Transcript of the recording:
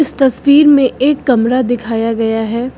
इस तस्वीर में एक कमरा दिखाया गया है।